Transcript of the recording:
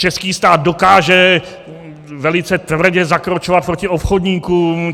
Český stát dokáže velice tvrdě zakročovat proti obchodníkům.